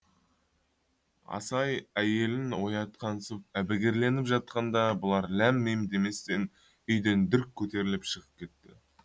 асай әйелін оятқансып әбігерленіп жатқанда бұлар ләм лим деместен үйден дүрк көтеріліп шығып кетті